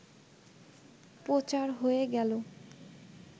প্রচার হয়ে গেল